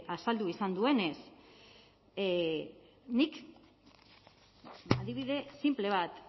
azaldu izan duenez nik adibide sinple bat